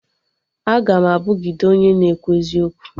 Aga m abugide onye na-ekwu eziokwu